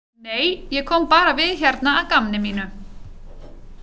Nei, ég kom bara við hérna að gamni mínu.